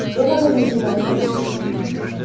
я давно не занимаюсь политикой